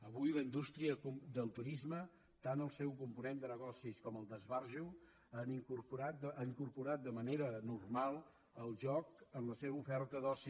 avui la indústria del turisme tant el seu component de negoci com el d’esbarjo ha incorporat de manera normal el joc en la seva oferta d’oci